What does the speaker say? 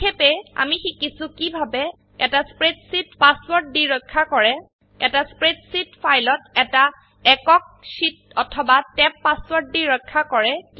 সংক্ষেপ আমি শিকিছো কিভাবে এটা স্প্ৰেডশীট পাসওয়াৰ্ড দি ৰক্ষা কৰে এটা স্প্ৰেডশীট ফাইলত এটা একক শীট অথবা ট্যাব পাসওয়াৰ্ড দি ৰক্ষা কৰে